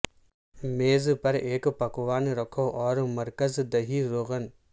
میز پر ایک پکوان رکھو اور مرکز دہی روغن